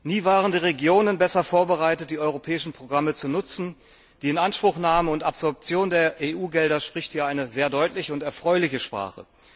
Nie waren die Regionen besser vorbereitet, die europäischen Programme zu nutzen. Die Inanspruchnahme und Absorption der EU Gelder spricht hier eine sehr deutliche und erfreuliche Sprache.